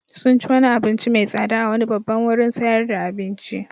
Sun ci wani abinci mai tsada a wani babban wurin sayar da abinci.